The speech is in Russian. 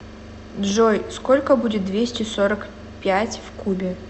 джой сколько будет двести сорок пять в кубе